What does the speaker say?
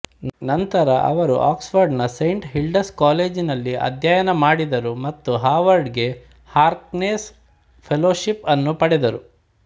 ನಂತರ ಅವರು ಆಕ್ಸ್ಫರ್ಡ್ನ ಸೇಂಟ್ ಹಿಲ್ಡಾಸ್ ಕಾಲೇಜಿನಲ್ಲಿ ಅಧ್ಯಯನ ಮಾಡಿದರು ಮತ್ತು ಹಾರ್ವರ್ಡ್ಗೆ ಹಾರ್ಕ್ನೆಸ್ ಫೆಲೋಷಿಪ್ ಅನ್ನು ಪಡೆದರು